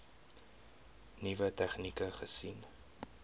nuwe tegnieke gesien